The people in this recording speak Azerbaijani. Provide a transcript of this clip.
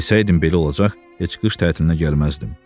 Bilsəydim belə olacaq, heç qış tətilinə gəlməzdim.